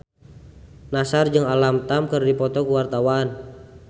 Nassar jeung Alam Tam keur dipoto ku wartawan